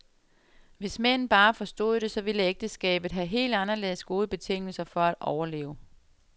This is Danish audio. Hvis mænd bare forstod det, så ville ægteskabet have helt anderledes gode betingelser for at overleve.